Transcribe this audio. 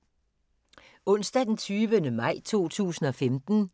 Onsdag d. 20. maj 2015